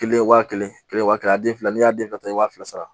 Kelen wa kelen kelen waa kelen a den fila n'i y'a den fila ta i b'a fila sara